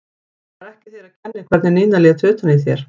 Það var ekki þér að kenna hvernig Nína lét utan í þér.